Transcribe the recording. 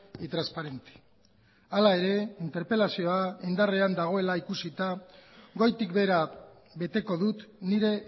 y transparente hala ere interpelazioa indarrean dagoela ikusita goitik behera beteko dut nire